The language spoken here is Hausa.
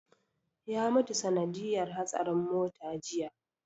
Ya mutu sanadiyar hatsarin mota jiya